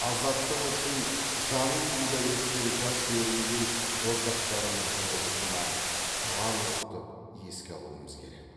азаттық үшін жанын пида еткен жас өрімдей боздақтарымыздың рухына құран оқытып еске алумыз керек